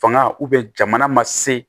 Fanga jamana ma se